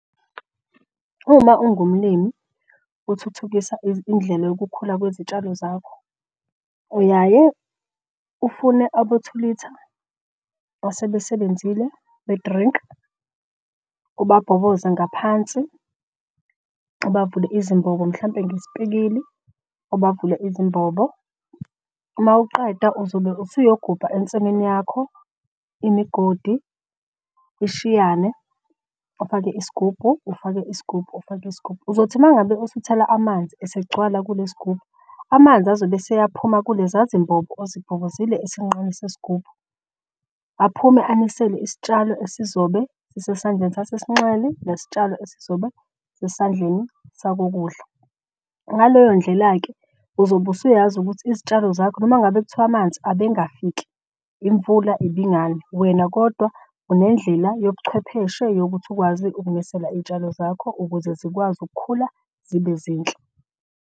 Uma ungumlimi uthuthukisa indlela yokukhula kwezitshalo zakho, uyaye ufune abo two litre asebesebenzile be-drink. Ubabhoboze ngaphansi ubavule izimbobo mhlampe ngesipikili ubavule izimbobo. Uma uqeda uzobe usuyogubha ensimini yakho imigodi ishiyane ufake isigubhu, ufake isigubhu, ufake isigubhu. Uzothi uma ngabe usuthela amanzi esegcwala kule sigubhu amanzi azobe esiyaphuma kuleza zimbobo ozibhobozile esinqeni sesigubhu. Aphume anisele isitshalo esizobe sisesandleni sasesinxeli nesitshalo esizobe sisesandleni sakokudla. Ngaleyo ndlela-ke uzobe usuyazi ukuthi izitshalo zakho noma ngabe kuthiwa amanzi abengafiki imvula ibingani wena kodwa unendlela yobuchwepheshe yokuthi ukwazi ukunisela iy'tshalo zakho ukuze zikwazi ukukhula zibe zinhle.